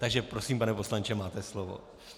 Takže prosím, pane poslanče, máte slovo.